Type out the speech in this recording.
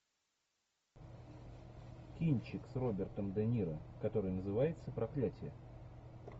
кинчик с робертом де ниро который называется проклятье